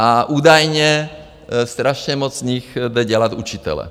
A údajně strašně moc z nich jde dělat učitele.